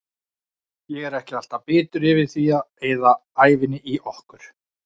Ég er ekki alltaf bitur yfir því að eyða ævinni í okkur.